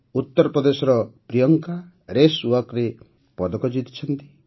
ଉତ୍ତରପ୍ରଦେଶର ପ୍ରିୟଙ୍କା ରେସ୍ ୱାକ୍ରେ ପଦକ ଜିତିଛନ୍ତି